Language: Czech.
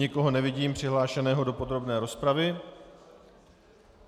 Nikoho nevidím přihlášeného do podrobné rozpravy.